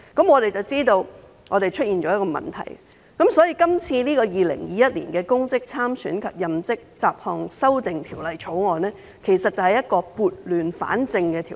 我們知道出現問題，所以提出《2021年公職條例草案》以撥亂反正。